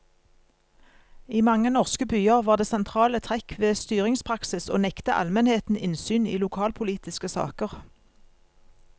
I mange norske byer var det sentrale trekk ved styringspraksis å nekte almenheten innsyn i lokalpolitiske saker.